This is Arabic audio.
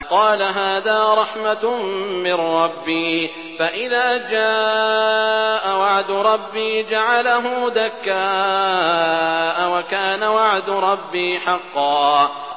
قَالَ هَٰذَا رَحْمَةٌ مِّن رَّبِّي ۖ فَإِذَا جَاءَ وَعْدُ رَبِّي جَعَلَهُ دَكَّاءَ ۖ وَكَانَ وَعْدُ رَبِّي حَقًّا